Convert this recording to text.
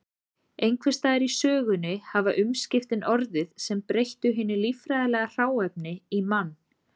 Einhvers staðar í sögunni hafa umskiptin orðið sem breyttu hinu líffræðilega hráefni í mann.